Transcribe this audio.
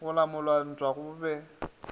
go lamola ntwa go be